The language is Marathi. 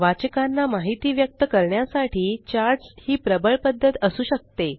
वाचकांना माहिती व्यक्त करण्यासाठी चार्ट्स ही प्रबळ पद्धत असू शकते